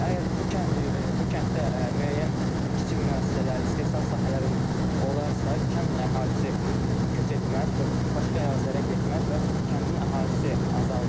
Əgər bu kənd, bu kənddə müəyyən kiçik müəssisələr, istehsal sahələri olarsa, kənd əhalisi köç etməz və başqa ərazilərə getməz və kəndin əhalisi azalmaz.